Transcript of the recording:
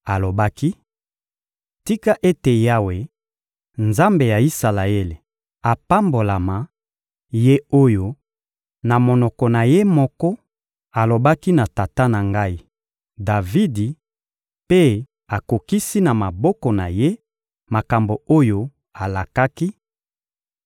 Alobaki: — Tika ete Yawe, Nzambe ya Isalaele, apambolama; Ye oyo, na monoko na Ye moko, alobaki na tata na ngai, Davidi, mpe akokisi, na maboko na Ye, makambo oyo alakaki: